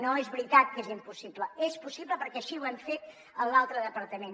no és veritat que és impossible és possible perquè així ho hem fet en l’altre departament